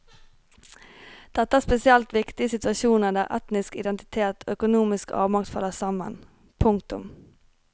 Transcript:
Dette er spesielt viktig i situasjoner der etnisk identitet og økonomisk avmakt faller sammen. punktum